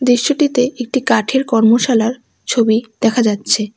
দৃশ্যটিতে একটি কাঠের কর্মশালার ছবি দেখা যাচ্ছে।